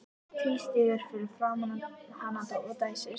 Tvístígur fyrir framan hana og dæsir.